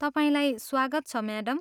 तपाईँलाई स्वागत छ, म्याडम।